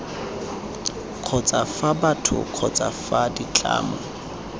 kgotsa fa batho kgotsa ditlamo